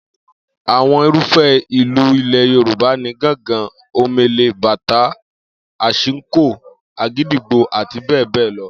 Àwo̩n irúfé̩ ìlù ilè̩ Yorùbá ni gángan, omele, bàtá, ashiko, àgídìgbo, àti bé̩è̩ bé̩è̩ lo̩